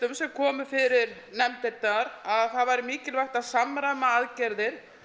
komu fyrir nefndirnar að það væri mikilvægt að samræma aðgerðir